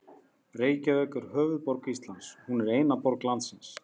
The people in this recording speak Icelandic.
Reykjavík er höfuðborg Íslands. Hún er eina borg landsins.